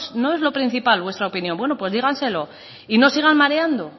no es lo principal vuestra opinión bueno pues díganselo y no sigan mareando